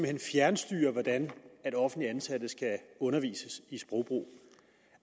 hen fjernstyre hvordan offentligt ansatte skal undervises i sprogbrug